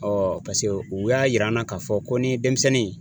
Ɔɔ pase u y'a yir'an na k'a fɔ ko n'i ye denmisɛnnin